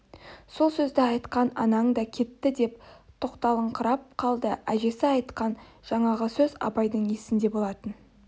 сол сөзді айтқан анаң да кетті деп тоқталыңқырап қалды әжесі айтқан жаңағы сөз абайдың есінде болатын